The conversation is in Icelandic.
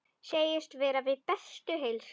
Segist vera við bestu heilsu.